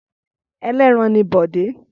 Ẹlẹ́ran ni Bọ̀dé.